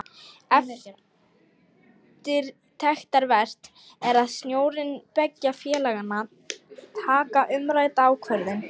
Eftirtektarvert er að stjórnir beggja félaganna taka umrædda ákvörðun.